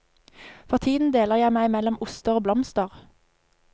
For tiden deler jeg meg mellom oster og blomster.